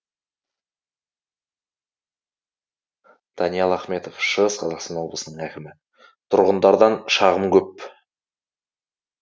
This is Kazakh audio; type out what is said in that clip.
даниал ахметов шығыс қазақстан облысының әкімі тұрғындардан шағым көп